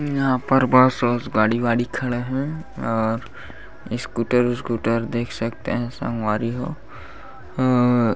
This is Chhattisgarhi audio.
यहाँ पर बस वस गाड़ी वाड़ी खड़ा है और स्कूटर उसकूटर देख सकते है संगवारी हो ओ--